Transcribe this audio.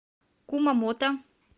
кумамото